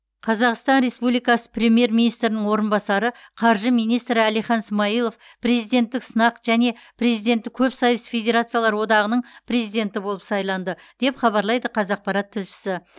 қазақстан республикасы премьер министрінің орынбасары қаржы министрі әлихан смайылов президенттік сынақ және президенттік көпсайыс федерациялар одағының президенті болып сайланды деп хабарлайды қазақпарат тілшісі